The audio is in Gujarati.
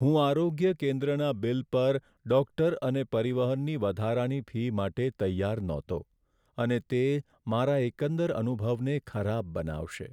હું આરોગ્ય કેન્દ્રના બિલ પર ડૉક્ટર અને પરિવહનની વધારાની ફી માટે તૈયાર નહોતો, અને તે મારા એકંદર અનુભવને ખરાબ બનાવશે.